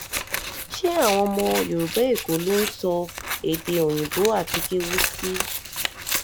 ṣé àwọn ọmọ yorùbá èkó ló ń sọ èdè òyìnbó àti kéwu sí